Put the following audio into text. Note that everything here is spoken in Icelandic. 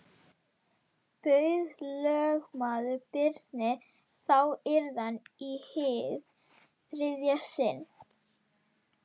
Bauð lögmaður Birni þá iðran í hið þriðja sinn.